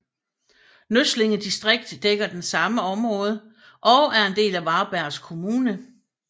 Nøsslinge distrikt dækker det samme område og er en del af Varbergs kommun